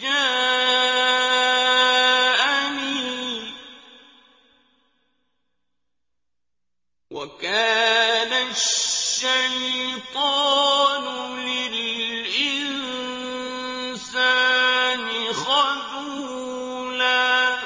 جَاءَنِي ۗ وَكَانَ الشَّيْطَانُ لِلْإِنسَانِ خَذُولًا